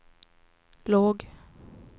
låg